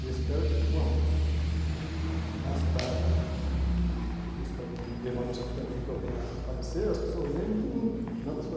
Eu espero que quando, nas tardes, eu espero que demore um certo tempo para que eu venha a falecer, as pessoas lembrem de mim, não da sua